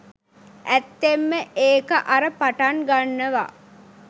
ඇත්තෙන්ම ඒක අර පටන් ගන්නවා